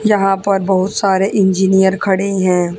यहां पर बहुत सारे इंजीनियर खड़े हैं।